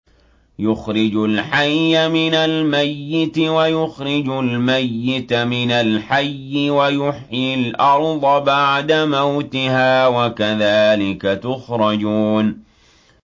يُخْرِجُ الْحَيَّ مِنَ الْمَيِّتِ وَيُخْرِجُ الْمَيِّتَ مِنَ الْحَيِّ وَيُحْيِي الْأَرْضَ بَعْدَ مَوْتِهَا ۚ وَكَذَٰلِكَ تُخْرَجُونَ